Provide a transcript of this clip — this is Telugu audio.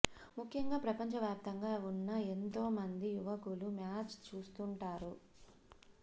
ముఖ్యంగా ప్రపంచ వ్యాప్తంగా ఉన్న ఎంతో మంది యువకులు మ్యాచ్ చూసుంటారు